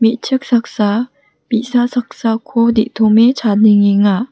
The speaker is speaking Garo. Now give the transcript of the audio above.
me·chik saksa bi·sa saksako de·tome chadengenga.